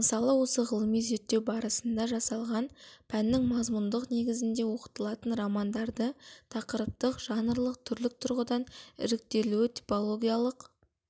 мысалы осы ғылыми зерттеу барысында жасалған пәннің мазмұндық негізінде оқытылатын романдарды тақырыптық жанрлық түрлік тұрғыдан іріктелуі типологиялық